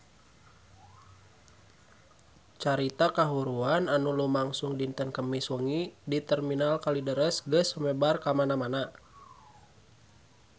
Carita kahuruan anu lumangsung dinten Kemis wengi di Terminal Kalideres geus sumebar kamana-mana